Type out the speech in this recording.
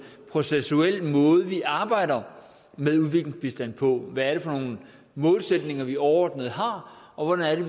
processuel måde vi arbejder med udviklingsbistand på hvad det er for nogle målsætninger vi overordnet har og hvordan